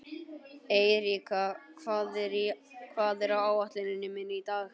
Eiríka, hvað er á áætluninni minni í dag?